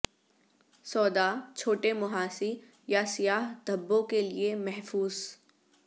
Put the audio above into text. soda چھوٹے مںہاسی یا سیاہ دھبوں کے لئے محفوظ